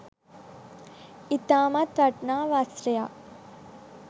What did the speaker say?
ඉතාමත් වටිනා වස්ත්‍රයක්